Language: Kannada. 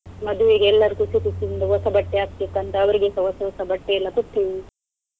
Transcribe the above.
ಮದುವೆಗೆ ಎಲ್ಲರೂ ಖುಷಿ ಖುಷಿಯಿಂದ ಹೊಸ ಬಟ್ಟೆ ಹಾಕ್ಬೇಕಂತ ಅವರಿಗೆಸ ಹೊಸ ಹೊಸ ಬಟ್ಟೆ ಎಲ್ಲ ಕೊಟ್ಟು.